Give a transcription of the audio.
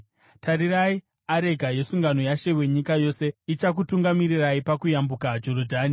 Tarirai, areka yesungano yaShe wenyika yose ichakutungamirirai pakuyambuka Jorodhani.